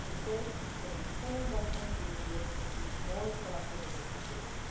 That is to say that, with the same investment, we will be able to achieve more for our citizens' security.